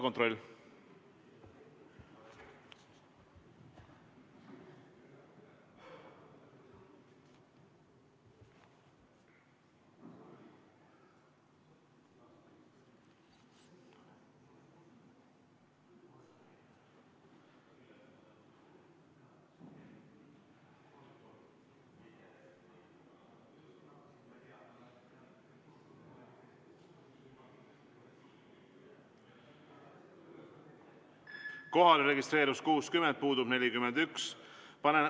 Kohalolijaks registreerus 60 liiget, puudub 41.